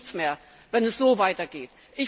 Es wird nichts mehr, wenn es so weitergeht!